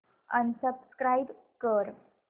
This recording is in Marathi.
अनसबस्क्राईब कर